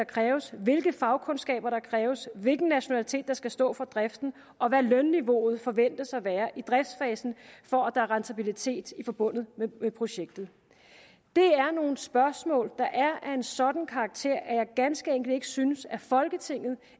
kræves hvilke fagkundskaber der kræves hvilken nationalitet der skal stå for driften og hvad lønniveauet forventes at være i driftsfasen for at der er rentabilitet forbundet med projektet det er nogle spørgsmål der er af en sådan karakter at jeg ganske enkelt ikke synes at folketinget